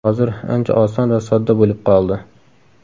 Hozir ancha oson va sodda bo‘lib qoldi.